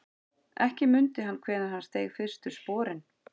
Ekki mundi hann hvenær hann steig fyrstu sporin.